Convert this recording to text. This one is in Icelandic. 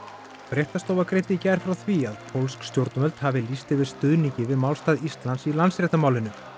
fréttastofa greindi í gær frá því að pólsk stjórnvöld hafi lýst yfir stuðningi við málstað Íslands í Landsréttarmálinu